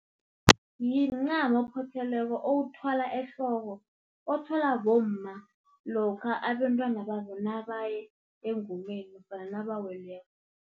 Mncamo ophothelweko, owuthwala ehloko. Othwalwa bomma, lokha abentwana babo nabaye engomeni, nofana nabaweleko.